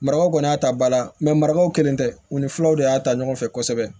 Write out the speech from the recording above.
Marakaw kɔni y'a ta bala marakaw kelen tɛ u ni filaw de y'a ta ɲɔgɔn fɛ kosɛbɛ